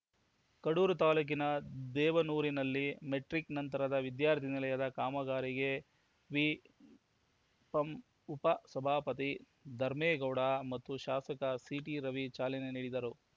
ಕಡೂರು ತಾಲೂಕಿನ ದೇವನೂರಿನಲ್ಲಿ ಮೆಟ್ರಿಕ್‌ ನಂತರದ ವಿದ್ಯಾರ್ಥಿ ನಿಲಯದ ಕಾಮಗಾರಿಗೆ ವಿಪಂ ಉಪ ಸಭಾಪತಿ ಧರ್ಮೇಗೌಡ ಮತ್ತು ಶಾಸಕ ಸಿಟಿ ರವಿ ಚಾಲನೆ ನೀಡಿದರು